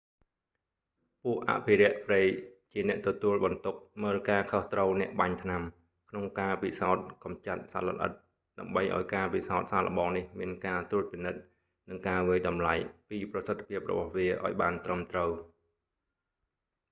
ពួកអភិរក្សព្រៃជាអ្នកទទួលបន្ទុកមើលការខុសត្រូវអ្នកបាញ់ថ្នាំ ក្នុងការពិសោធន៍កម្ចាត់សត្វល្អិតដើម្បីឱ្យការពិសោធន៍សាកល្បងនេះមានការត្រួតពិនិត្យ និងការវាយតម្លៃពីប្រសិទ្ធភាពរបស់វាឱ្យបានត្រឹមត្រូវ